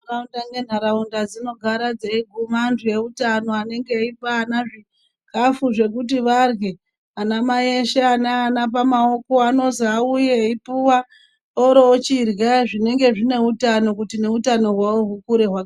Ntaraunda nentaraunda dzinogara dzeiguma antu eutano anenge eipa ana zvikhafu zvekuti varye. Anamai eshe ane ana pamaoko anozi auye eipuwa, oroochirya zvinenge zvine utano kuti neutano hwavo hukure hwa...